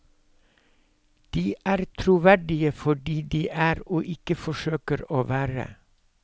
De er troverdige fordi de er og ikke forsøker å være.